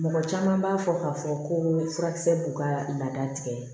Mɔgɔ caman b'a fɔ k'a fɔ ko furakisɛ b'u ka laada tigɛ